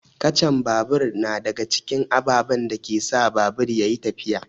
Kacan babur na daga cikin ababen da ke sa babur ya yi tafiya.